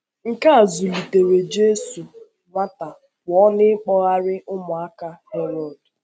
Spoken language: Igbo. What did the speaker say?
Nke a zùlitèrè Jisù nwata pụọ n’ịkpọ́gharị̀ ụmụaka Herod.